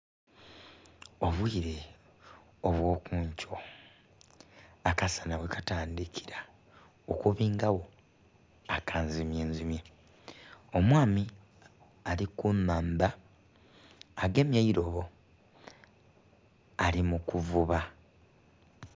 Obubwire obwokunkyo akasana ghekatandhikira okubingagho akanzimyenzimye omwami ali kunhandha, agemye eirobo ali mu kuvuba.